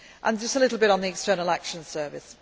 all the time. Just a little bit on the External